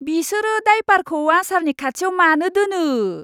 बिसोरो डायपारखौ आसारनि खाथियाव मानो दोनो?